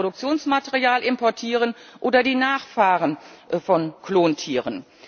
Wir können Reproduktionsmaterial importieren oder die Nachfahren von Klontieren.